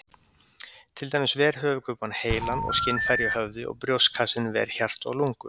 Til dæmis ver höfuðkúpan heilann og skynfæri í höfði og brjóstkassinn ver hjarta og lungu.